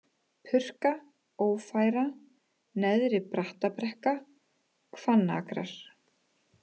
Purka, Ófæra, Neðri-Brattabrekka, Hvannakrar